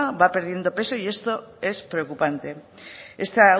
va perdiendo peso y esto es preocupante esta